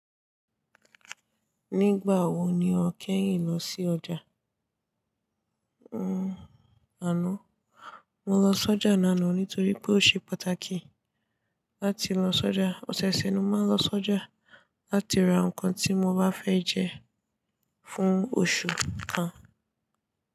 Nígbà wo ni o kẹ́yìn lọ sí ọjà? Hmmm àná, mo lọ s'ọjà lánàá nítorí pé ó ṣe pàtàkì láti lọ s'ọjà. Osẹ̀'se n máa ń lọ s'ọjà láti ra nǹkan tí mo bá fẹ́ jẹ fún oṣù kan.